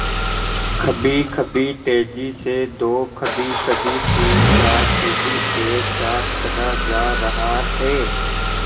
कभीकभी तेज़ी से दो कभीकभी तीनचार सीढ़ी एक साथ चढ़ा जा रहा है